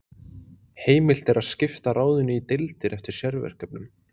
Heimilt er að skipta ráðinu í deildir eftir sérverkefnum.